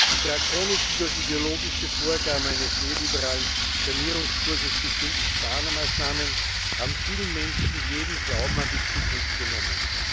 Die drakonischen durch ideologische Vorgaben eines neoliberalen Sanierungskurses bestimmten Sparmaßnahmen haben vielen Menschen jeden Glauben an die Zukunft genommen.